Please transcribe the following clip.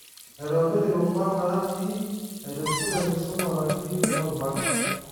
Aitobirr irubat naati, aitushul enkisuma nati kuna rubat